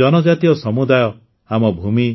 ଜନଜାତୀୟ ସମୁଦାୟ ଆମ ଭୂମି